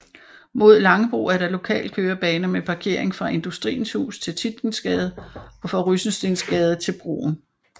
Mod Langebro er der lokalkørebaner med parkering fra Industriens Hus til Tietgensgade og fra Rysensteensgade til broen